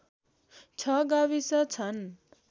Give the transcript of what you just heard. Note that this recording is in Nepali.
६ गाविस छन्